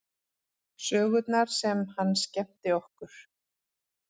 Sögurnar sem hann skemmti okkur